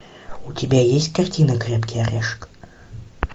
у тебя есть картина крепкий орешек